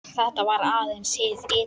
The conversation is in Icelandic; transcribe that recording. Þetta var aðeins hið ytra.